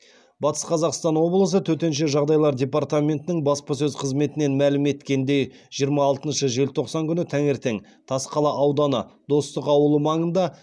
батыс қазақстан облысы төтенше жағдайлар департаментінің баспасөз қызметінен мәлім еткеніндей жиырма алтыншы желтоқсан күні таңертең тасқала ауданы достық ауылы маңында